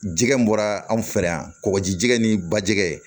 Jɛgɛ bɔra anw fɛ yan kɔkɔji jɛgɛn ni bajɛgɛ